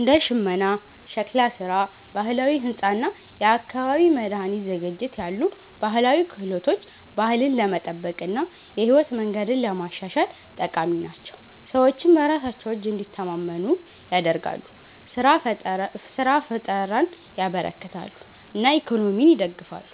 እንደ ሽመና፣ ሸክላ ስራ፣ ባህላዊ ሕንፃ እና የአካባቢ መድኃኒት ዝግጅት ያሉ ባህላዊ ክህሎቶች ባህልን ለመጠበቅ እና የህይወት መንገድን ለማሻሻል ጠቃሚ ናቸው። ሰዎችን በራሳቸው እጅ እንዲተማመኑ ያደርጋሉ፣ ስራ ፍጠርን ያበረክታሉ እና ኢኮኖሚን ይደግፋሉ።